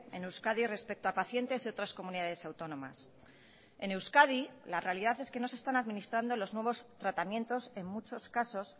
en euskadi respecto a pacientes de otras comunidades autónomas en euskadi la realidad es que no se están administrando los nuevos tratamientos en muchos casos